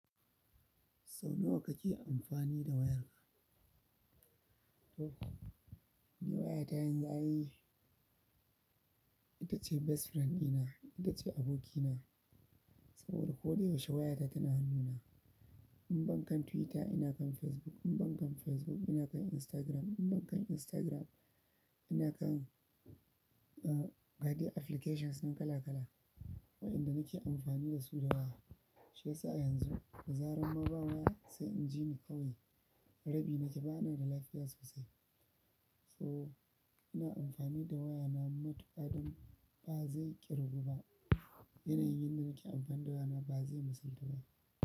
Sau nawa kake amfani da wayarka? To, ni waya ta yanzu ai, ita ce best friend ina, ita ce abokina. Saboda ko da yaushe waya ta tana hannuna. In ban kan Twitter ina kan Facebook, in ban kan Facebook ina kan Instagram, in ban kan Instagram ina kan, uh, gade applications ɗin kala kala, wa'inda nake amfani da su da waya. Shiyasa yanzu dazaran ma ba waya sai inji ni kawai, rabi nake ba ni da lafiya sosai, so ina amfani da wayana matuƙa don ba zai ƙirgu ba, yanayin yanda nake amfani da waya na ba zai misaltu ba.